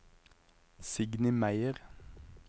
Signy Meyer